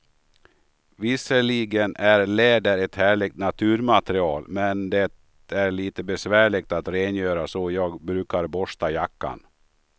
Visserligen är läder ett härligt naturmaterial, men det är lite besvärligt att rengöra, så jag brukar borsta jackan.